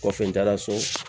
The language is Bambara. Kɔfɛ n taara so